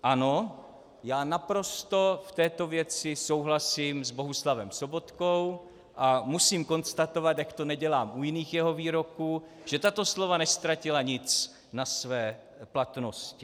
Ano, já naprosto v této věci souhlasím s Bohuslavem Sobotkou a musím konstatovat, jak to nedělám u jiných jeho výroků, že tato slova neztratila nic na své platnosti.